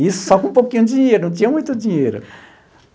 Isso só com um pouquinho de dinheiro, não tinha muito dinheiro.